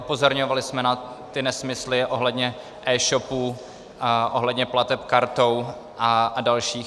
Upozorňovali jsme na ty nesmysly ohledně e-shopů, ohledně plateb kartou a dalších.